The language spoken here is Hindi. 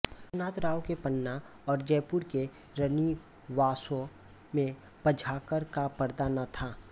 रघुनाथ राव के पन्ना और जयपुर के रनिवासों में पद्माकर का पर्दा न था